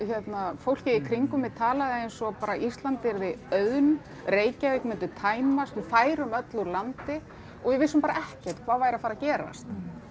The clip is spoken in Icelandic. fólkið í kringum mig talaði eins og bara Ísland yrði auðn Reykjavík myndi tæmast við færum öll úr landi og við vissum bara ekkert hvað væri að fara að gerast